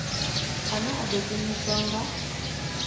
ane a ḓo shumiswa nga